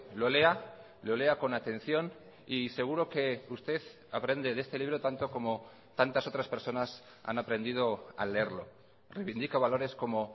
lo lea lo lea con atención y seguro que usted aprende de este libro tanto como tantas otras personas han aprendido al leerlo reivindica valores como